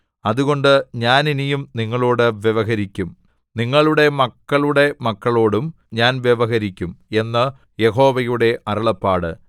അതുകൊണ്ട് ഞാൻ ഇനിയും നിങ്ങളോടു വ്യവഹരിക്കും നിങ്ങളുടെ മക്കളുടെ മക്കളോടും ഞാൻ വ്യവഹരിക്കും എന്ന് യഹോവയുടെ അരുളപ്പാട്